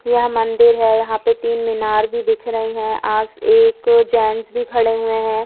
यह मंदिर है यहां पे तीन मीनार भी दिख रही है आस एक जेंट्स भी खड़े हुए हैं।